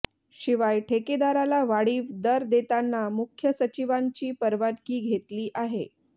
शिवाय ठेकेदाराला वाढीव दर देताना मुख्य सचिवांची परवानगी घेतली आहे